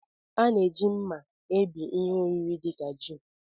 A na-eji mma ebí ihe oriri dị ka ji